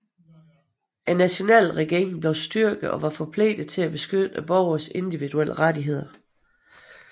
Nationalregeringen blev styrket og var forpligtet til at beskytte borgernes individuelle rettigheder